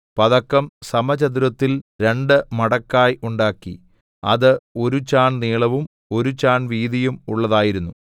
പതക്കം സമചതുരത്തിൽ രണ്ടുമടക്കായി ഉണ്ടാക്കി അത് ഒരു ചാൺ നീളവും ഒരു ചാൺ വീതിയും ഉള്ളതായിരുന്നു